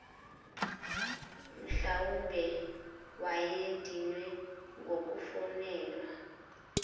mhlwawumbe wayedinwe ngukufonelwa